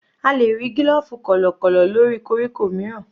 A lè rí gílòfù kọ̀lọ̀kọ̀lọ̀ lórí koríko mìíràn.